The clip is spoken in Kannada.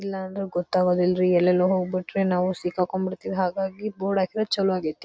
ಇಲ್ಲಾಂದ್ರೆ ಗೊತ್ತಾಗೊದಿಲ್ಲರೀ ಎಲ್ಲೆಲ್ಲೋ ಹೋಗ್ಬಿಟ್ರೆ ನಾವು ಸಿಕ್ ಹಾಕ್ಕೊಂಡು ಬಿಡ್ತೀವಿ. ಹಾಗಾಗಿ ಬೋರ್ಡ್ ಹಾಕಿದ್ರೆ ಚಲೋ ಆಗೈತಿ.